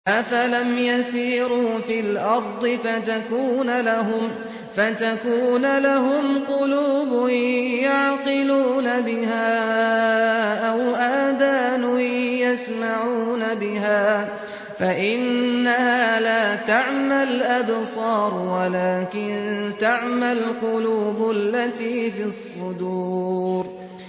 أَفَلَمْ يَسِيرُوا فِي الْأَرْضِ فَتَكُونَ لَهُمْ قُلُوبٌ يَعْقِلُونَ بِهَا أَوْ آذَانٌ يَسْمَعُونَ بِهَا ۖ فَإِنَّهَا لَا تَعْمَى الْأَبْصَارُ وَلَٰكِن تَعْمَى الْقُلُوبُ الَّتِي فِي الصُّدُورِ